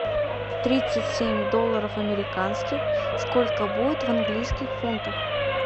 тридцать семь долларов американских сколько будет в английских фунтах